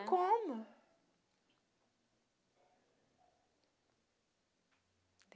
né. E como?